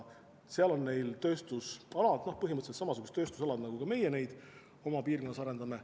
Seal on neil põhimõtteliselt samasugused tööstusalad, nagu ka meie neid oma piirkonnas arendame.